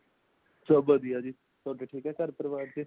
ਸਭ ਵਧੀਆ ਜੀ , ਤੁਹਾਡੇ ਠੀਕ ਹੈ ਘਰ ਪਰਿਵਾਰ | ਚ